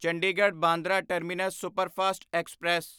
Chandigarh Bandra terminus superfast express